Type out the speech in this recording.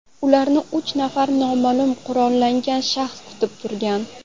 Ularni uch nafar noma’lum qurollangan shaxs kutib turgan.